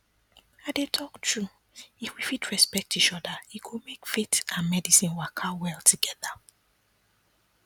i dey talk true if we fit respect each other e go make faith and medicine waka well together